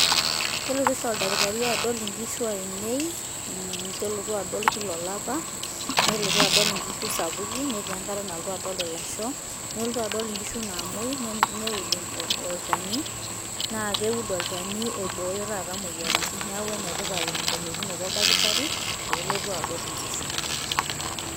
Kelotu oshi oldaktari adol nkishu ainei, mmh kelotu adol kila olapa, neeku kelotu adol nkishu sapukin netii enkata adol ilasho, nelotu adol nkishu naamuoi, neud olchani. Naa keud olchani oibooyo taata moyiaritin neeku enetipat elotunoto oldaktari peelotu adol nkishu.